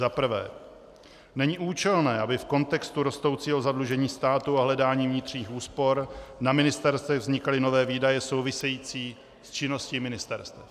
Za prvé, není účelné, aby v kontextu rostoucího zadlužení státu a hledání vnitřních úspor na ministerstvech vznikaly nové výdaje související s činností ministerstev.